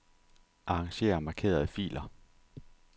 Arranger markerede filer.